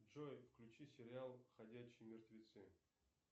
джой включи сериал ходячие мертвецы